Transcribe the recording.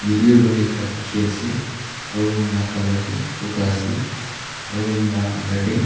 etiu room ekta dikhi ase aru room lah colour tu boga ase aru room lah under teh--